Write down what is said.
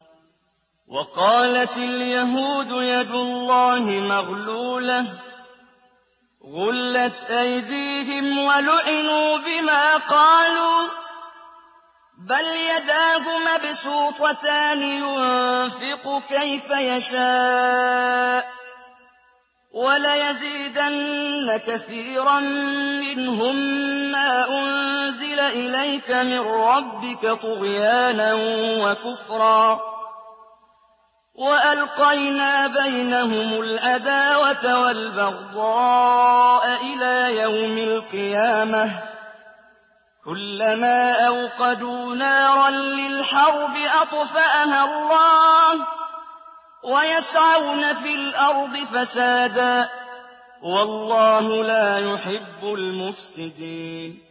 وَقَالَتِ الْيَهُودُ يَدُ اللَّهِ مَغْلُولَةٌ ۚ غُلَّتْ أَيْدِيهِمْ وَلُعِنُوا بِمَا قَالُوا ۘ بَلْ يَدَاهُ مَبْسُوطَتَانِ يُنفِقُ كَيْفَ يَشَاءُ ۚ وَلَيَزِيدَنَّ كَثِيرًا مِّنْهُم مَّا أُنزِلَ إِلَيْكَ مِن رَّبِّكَ طُغْيَانًا وَكُفْرًا ۚ وَأَلْقَيْنَا بَيْنَهُمُ الْعَدَاوَةَ وَالْبَغْضَاءَ إِلَىٰ يَوْمِ الْقِيَامَةِ ۚ كُلَّمَا أَوْقَدُوا نَارًا لِّلْحَرْبِ أَطْفَأَهَا اللَّهُ ۚ وَيَسْعَوْنَ فِي الْأَرْضِ فَسَادًا ۚ وَاللَّهُ لَا يُحِبُّ الْمُفْسِدِينَ